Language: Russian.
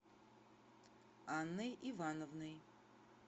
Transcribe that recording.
анной ивановной